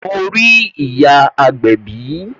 Mo rí ìyá agbẹ̀bí